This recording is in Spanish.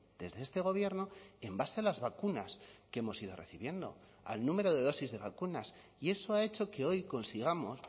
desde este gobierno en base a las vacunas que hemos ido recibiendo al número de dosis de vacunas y eso ha hecho que hoy consigamos